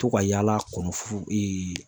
To ka yaala kɔnɔ fu